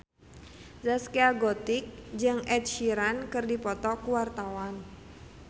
Zaskia Gotik jeung Ed Sheeran keur dipoto ku wartawan